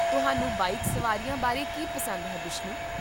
ਤੁਹਾਨੂੰ ਬਾਈਕ ਸਵਾਰੀਆਂ ਬਾਰੇ ਕੀ ਪਸੰਦ ਹੈ, ਬਿਸ਼ਨੂ?